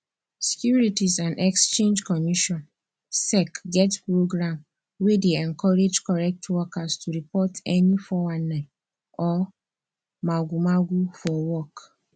securities and exchange commission sec get program wey dey encourage correct workers to report any 419 or magomago for work